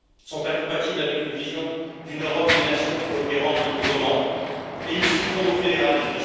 sont incompatibles avec une vision d'une Europe des nations coopérant librement et ils succombent au fédéralisme.